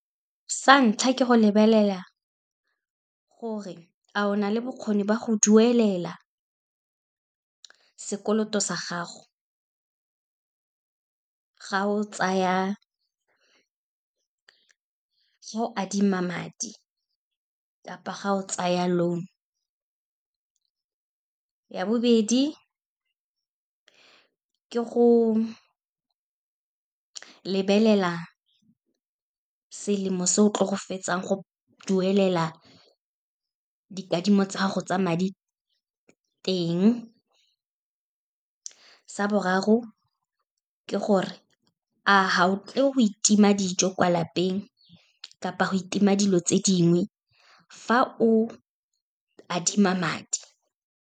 Sa ntlha, ke go lebelela gore a o na le bokgoni ba go duelela sekoloto sa gago, ga o adima madi, kapa ga o tsaya loan. Ya bobedi, ke go lebelela selemo se o tlo go fetsang go duelela dikadimo tsa gago tsa madi teng. Sa boraro, ke gore a ga o tle go itima dijo kwa lapeng, kapa go itima dilo tse dingwe, fa o adima madi.